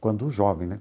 Quando jovem, né?